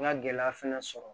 N ka gɛlɛya fɛnɛ sɔrɔ